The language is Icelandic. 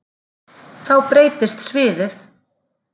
Þá breytist sviðið.